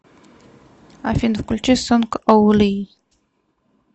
афина включи сонг оу ли